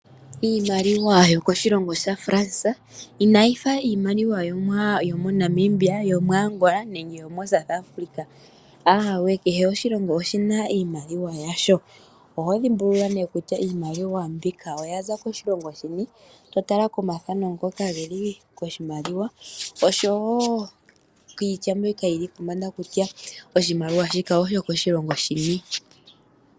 Iimaliwa yokoshilongo shaFrans inayi fa iimaliwa yomoNamibia, yomoAngola nenge yomoSouth Afrika, ahawe, ayihe iimaliwa. Oho dhimbulula nee kutya iimaliwa mbika oya za koshilongo shini, to tala komathano ngoka geli koshimaliwa oshowo kiitya mbyoka yili pombanda kutya iimaliwa mbika oyokoshilongo shini.